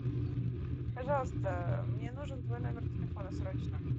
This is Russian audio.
пожалуйста мне нужен твой номер телефона срочно